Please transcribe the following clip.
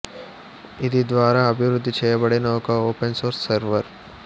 ఇది ద్వారా అభివృద్ధి చేయబడిన ఒక ఓపెన్ సోర్స్ సెర్వర్